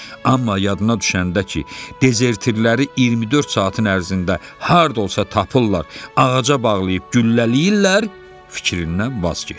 Amma yadına düşəndə ki, dezertirləri 24 saatın ərzində harda olsa tapırlar, ağaca bağlayıb güllələyirlər, fikrindən vaz keçdi.